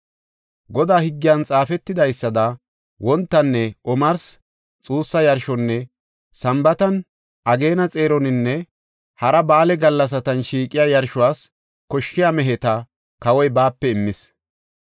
Godaa higgiyan xaafetidaysada wontanne omarsi xuussa yarshonne Sambaatan, ageena xeeroninne hara ba7aale gallasatan shiiqiya yarshuwas koshshiya meheta kawoy baape immees.